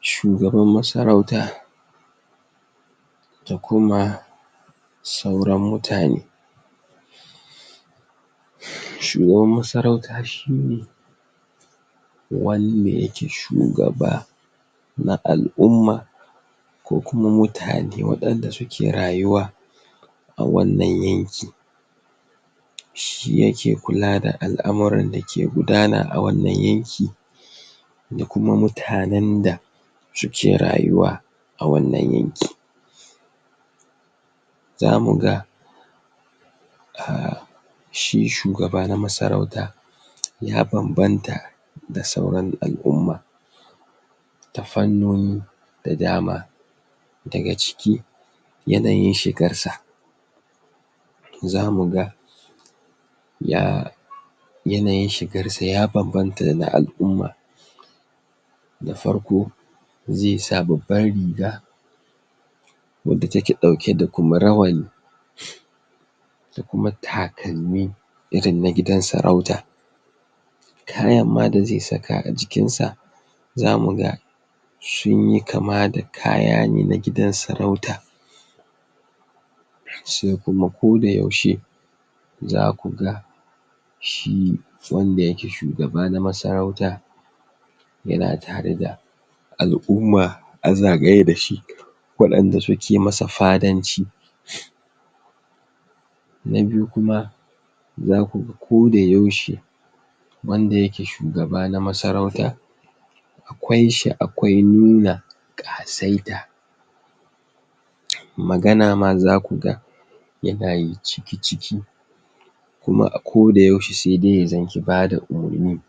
Shugaban masauta da kuma sauran mutane shugban masarauta shi ne wanda yake shugaba na al'umma kukuma mutane waɗanda suke rayuwa a wannan yanki shi yake kula da al'amuran dake gudana a wannan yanki da kuma mutanen da suke rayuwa a wannan yanki zamuga ahhh shi shugaba na masarauta ya banbanta da sauran al'umma ta fannoni da dama daga ciki yanayi shigarsa zamuga ya yanayin shigansa ya banbanta dana al'umma da farko zaisa babban riga wadda take ɗauke da kuma rawani da kuma takalmi irin da gidan sarauta kayanma da zai saka a jikinsa zamuga sunyi kama da kaya ne na gidan sarauta sai kuma ko da yaushe za kuga shi wanda yake shugaba na masarauta yana tare da al'umma a zagaye dashi waɗnda suke masa fadanci na biyu kuma zaku... koda yaushe wanda yake shugaba na masaurata akwai shi akwai nuna Ƙasaita magana ma zakuga yana yi ciki-ciki kuma a ko da yausge saidai ya zam ke bada umarni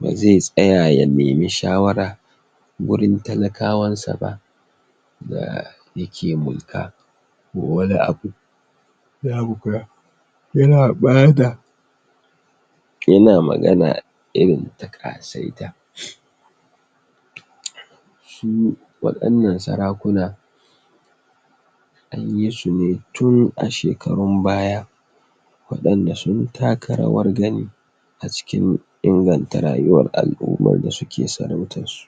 bazai tsaya ya nemi shawara gurin talakawansa ba daa... yake mulka ko wani abu ya yan bayar da yana magana irin ta Ƙasaita shi wadannan sarakuna anyi sune tun a shekarun baya waɗanda sun taka rawar gani a cikin inganta rayuwar al'ummar da suke sarautarsu